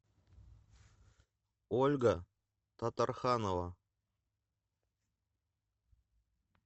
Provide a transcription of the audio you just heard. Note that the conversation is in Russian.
ольга татарханова